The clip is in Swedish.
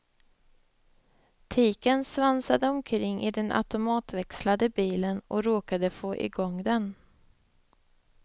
Tiken svansade omkring i den automatväxlade bilen och råkade få i gång den.